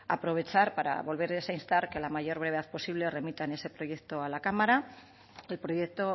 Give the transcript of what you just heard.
aprovechar para volverles a instar que a la mayor brevedad posible remitan ese proyecto a la cámara el proyecto